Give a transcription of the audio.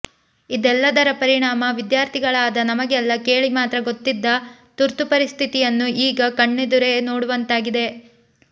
ಇದೆಲ್ಲದರ ಪರಿಣಾಮ ವಿದ್ಯಾರ್ಥಿಗಳಾದ ನಮಗೆಲ್ಲಾ ಕೇಳಿ ಮಾತ್ರ ಗೊತ್ತಿದ್ದ ತುರ್ತುಪರಿಸ್ಥಿತಿಯನ್ನು ಈಗ ಕಣ್ಣೆದುರೇ ಕಾಣುವಂತಾಗಿದೆ